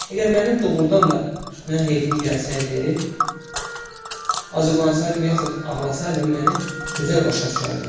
Əgər mənim doğurdan da tütəyən heyfim gəlsəydi, hazırlansaydım yaxud ağlasaydım, məni gözəl başa düşərdi.